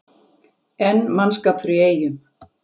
Enn mannskapur í Eyjum